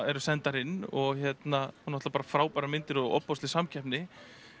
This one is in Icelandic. eru sendar inn og náttúrulega bara frábærar myndir og ofboðsleg samkeppni